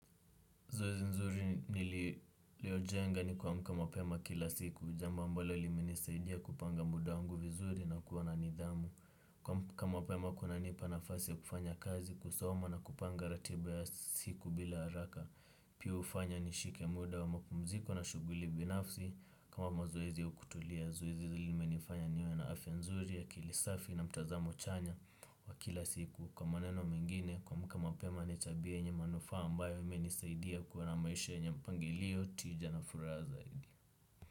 Zuoezi nzuri nililojenga ni kuamka mapema kila siku, jambo ambalo limenisaidia kupanga muda wangu vizuri na kuwa na nidhamu. Kuamka mapema kuna nipa nafasi ya kufanya kazi, kusoma na kupanga ratiba ya siku bila haraka. Pia ufanya nishike muda wa mapumziko na shuguli binafsi kama mazoezi au kutulia. Zoezi zi limenifanya niwe na afya nzuri akili safi na mtazamo chanya wa kila siku. Kwa maneno mengine kuamka mapema ni tabia yenye manufaa ambayo imenisaidia kuwa na maisha yenye mpangilio tija na furaha zaidi.